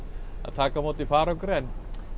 taka á móti farangri en